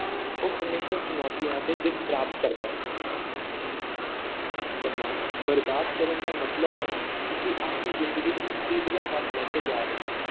ਉਹ ਹਮੇਸ਼ਾ ਚੁਣੌਤੀਆਂ ‘ਤੇ ਜਿੱਤ ਪ੍ਰਾਪਤ ਕਰਦਾ ਹੈ ਸਮਾਂ ਬਰਬਾਦ ਕਰਨ ਦਾ ਮਤਲਬ ਹੈ ਅਸੀਂ ਆਪਣੀ ਜ਼ਿੰਦਗੀ ਨੂੰ ਮੁਸੀਬਤਾਂ ਵੱਲ ਲੈ ਕੇ ਜਾ ਰਹੇ ਹਾਂ,